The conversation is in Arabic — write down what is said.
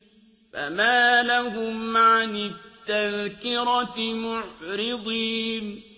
فَمَا لَهُمْ عَنِ التَّذْكِرَةِ مُعْرِضِينَ